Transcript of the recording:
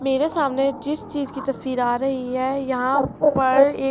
معرع سامنع جیس چحیز کی تاسطعر ا راحی حای، ےاحان پار عک--.